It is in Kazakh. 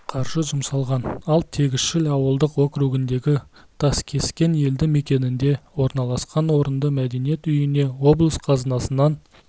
қаржы жұмсалған ал тегісшіл ауылдық округіндегі таскескен елді мекенінде орналасқан орынды мәдениет үйіне облыс қазынасынан